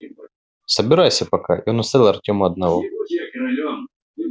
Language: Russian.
собирайся пока и он оставил артёма одного